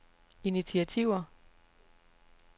initiativer